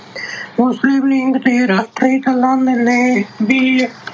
ਉਸੇ ਰਾਸ਼ਟਰੀ ਨੇ ਵੀ